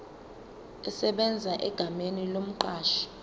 esebenza egameni lomqashi